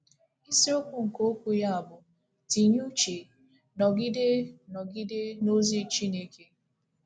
Isiokwu nke okwu ya bụ “ Tinye Uche, Nọgide, Nọgide n’Ozi Chineke. ”